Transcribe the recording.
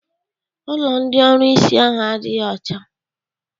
Ụlọ ndị ọrụsị ahụ adịghị ọcha.